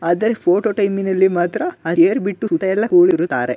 ಆದರೆ ಫೊಟೊ ಟೈಮಿನಲ್ಲಿ ಮಾತ್ರ ಹೆಯಿರ್ ಬಿಟ್ಟುತ್ತಾ ಎಲ್ಲ ಕೂರುತ್ತಾರೆ .